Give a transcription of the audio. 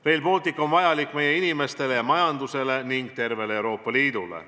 Rail Baltic on vajalik meie inimestele ja majandusele ning tervele Euroopa Liidule.